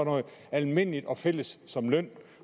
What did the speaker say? almindeligt og fælles som løn